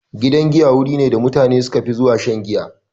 Gidan giya wuri ne da mutane suka fi zuwa shan giya.